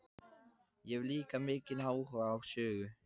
Ég hef líka mikinn áhuga á sögu.